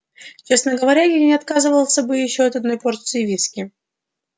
честно говоря я не отказался бы от ещё одной порции виски